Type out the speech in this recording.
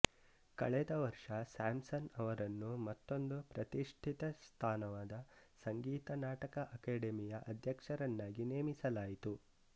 ಕಳೆದ ವರ್ಷ ಸ್ಯಾಮ್ಸನ್ ಅವರನ್ನು ಮತ್ತೊಂದು ಪ್ರತಿಷ್ಠಿತ ಸ್ಥಾನವಾದ ಸಂಗೀತ ನಾಟಕ ಅಕಾಡೆಮಿಯ ಅಧ್ಯಕ್ಷರನ್ನಾಗಿ ನೇಮಿಸಲಾಯಿತು